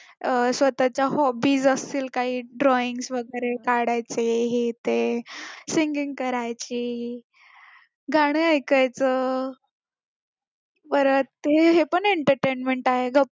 अं स्वतचा hobbies असतील काही drawings वगैरे काढायचे हे ते singing करायची गाणं ऐकायचं परत हे पण entertainment आहे